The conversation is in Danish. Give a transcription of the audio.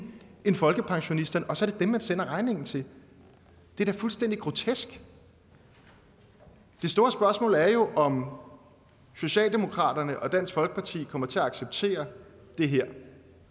end folkepensionisterne og så er det dem man sender regningen til det er da fuldstændig grotesk det store spørgsmål er jo om socialdemokratiet og dansk folkeparti kommer til at acceptere det her